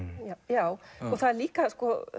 já og það er líka